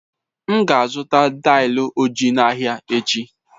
M ga-azụta daị ojii n'ahịa echi.